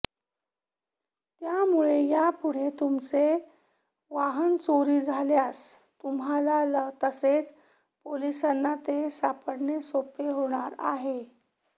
त्यामुळे यापुढे तुमचे वाहन चोरी झाल्यास तुम्हाला तसेच पोलिसांना ते सापडणे सोपे होणार आहे